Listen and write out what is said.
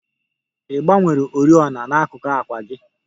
Ị gbanwere oriọna n'akuku àkwà gị?